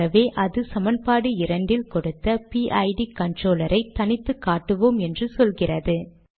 ஆகவே அது சமன்பாடு 2 ல் கொடுத்த பிட் கன்ட்ரோலர் ஐ தனித்து காட்டுவோம் என்று சொல்கிறது